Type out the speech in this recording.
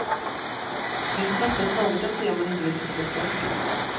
Det finns knappast något att se om man inte vill titta på sport.